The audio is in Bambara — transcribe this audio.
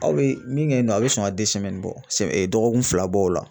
Aw bɛ min kɛ yen nɔ a bɛ sɔn ka bɔ dɔgɔkun fila bɔ o la